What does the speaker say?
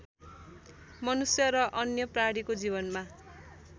मनुष्य र अन्य प्राणीको जीवनमा